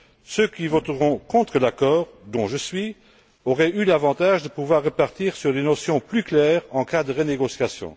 Ceux qui voteront contre l'accord, dont je suis, auraient eu l'avantage de pouvoir repartir sur des notions plus claires en cas de renégociation.